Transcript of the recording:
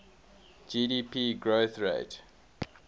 gdp growth rate